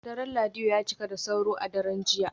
Daren Laido ya cika da sauro a daren jiya